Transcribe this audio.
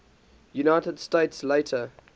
united states later